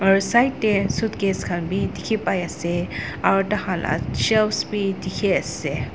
aro side te suitcase bi dekhi bai ase aro daikhala shelf bi dekhi ase.